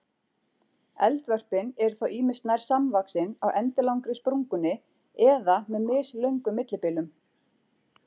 Eldvörpin eru þá ýmist nær samvaxin á endilangri sprungunni eða með mislöngum millibilum.